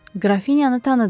Qrafinyanı tanıdım.